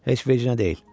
Heç vecnə deyil.